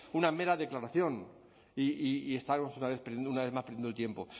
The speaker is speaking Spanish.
una mera declaración y estaríamos una vez más perdiendo el tiempo